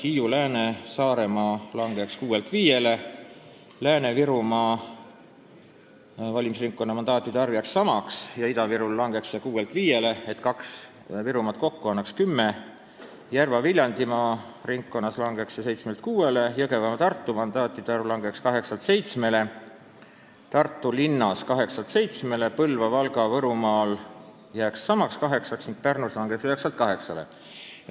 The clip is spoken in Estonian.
Hiiu-, Lääne- ja Saaremaal langeks see arv 6-lt 5-le, Lääne-Virumaa valimisringkonna mandaatide arv jääks samaks ja Ida-Virus langeks see 6-lt 5-le, nii et kaks Virumaad kokku saaksid 10 mandaati, Järva- ja Viljandimaa valimisringkonnas langeks see arv 7-lt 6-le, Jõgeva- ja Tartumaa mandaatide arv langeks 8-lt 7-le, Tartu linna arv 8-lt 7-le, Põlva-, Valga- ja Võrumaal jääks samaks, 8, ning Pärnus langeks 9-lt 8-le.